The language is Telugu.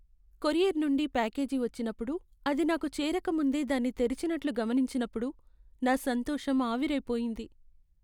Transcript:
కొరియర్ నుండి ప్యాకేజీ వచ్చినప్పుడు, అది నాకు చేరకముందే దాన్ని తెరిచినట్లు గమనించినప్పుడు నా సంతోషం ఆవిరై పోయింది.